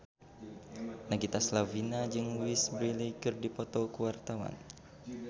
Nagita Slavina jeung Louise Brealey keur dipoto ku wartawan